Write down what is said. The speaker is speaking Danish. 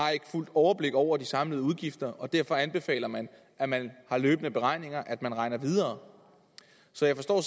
fuldt overblik over de samlede udgifter og derfor anbefaler man at man har løbende beregninger at man regner videre så jeg forstår